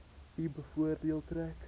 u voordeel trek